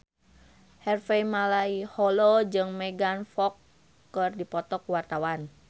Harvey Malaiholo jeung Megan Fox keur dipoto ku wartawan